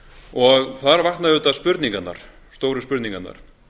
og þar vakna auðvitað spurningarnar stóru spurningarnar